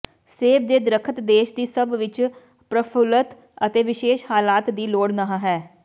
ਸੇਬ ਦੇ ਦਰਖ਼ਤ ਦੇਸ਼ ਦੀ ਸਭ ਵਿੱਚ ਪ੍ਰਫੁੱਲਤ ਅਤੇ ਵਿਸ਼ੇਸ਼ ਹਾਲਾਤ ਦੀ ਲੋੜ ਨਹ ਹੈ